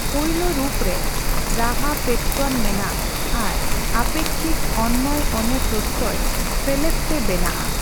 ᱯᱩᱭᱞᱳ ᱨᱩᱯ ᱨᱮ ᱨᱟᱦᱟ ᱯᱮᱴᱚᱨᱚᱱ ᱢᱮᱱᱟᱜᱼ ᱟᱨ ᱟᱯᱮᱠᱠᱷᱤᱠ ᱚᱱᱱᱚᱭᱼᱚᱱᱮ ᱯᱨᱚᱛᱛᱚᱭ ᱥᱮᱞᱮᱫᱛᱮ ᱵᱮᱱᱟᱜᱼᱟ ᱾